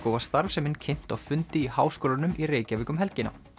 og var starfsemin kynnt á fundi í Háskólanum í Reykjavík um helgina